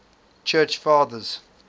church fathers